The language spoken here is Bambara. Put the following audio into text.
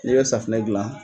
N'e bɛ safunɛ gilan